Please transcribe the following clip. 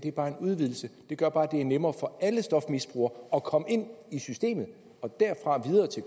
er bare en udvidelse den gør bare at det er nemmere for alle stofmisbrugere at komme ind i systemet og derfra videre til